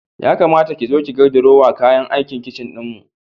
Ya kamata ki zo ki ga drawer kayan aikin kicin ɗinmu.